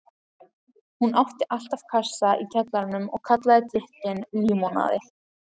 Hún átti alltaf kassa í kjallaranum og kallaði drykkinn límonaði.